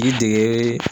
Ji dege